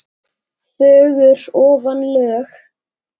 fögur ofan lög.